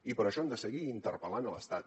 i per això hem de seguir interpel·lant l’estat